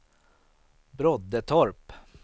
Broddetorp